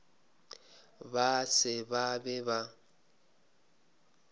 ba se ba be ba